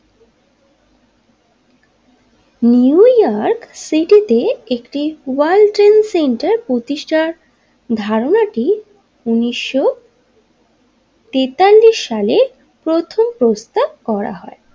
New York City তে একটি World Trade Center প্রতিষ্টা ধারণাটি উনিশশো তেতাল্লিশ সালে প্রথম প্রস্তাব করা হয়।